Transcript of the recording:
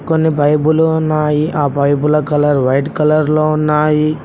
కొన్ని పైపులు ఉన్నాయి ఆ పైపులు కలర్ వైట్ కలర్ లో ఉన్నాయి.